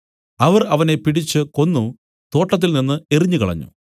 അവർ അവനെ പിടിച്ച് കൊന്നു തോട്ടത്തിൽ നിന്നു എറിഞ്ഞുകളഞ്ഞു